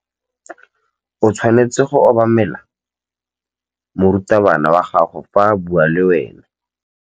O tshwanetse go obamela morutabana wa gago fa a bua le wena.